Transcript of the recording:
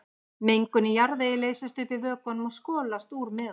Mengun í jarðvegi leysist upp í vökvanum og skolast úr með honum.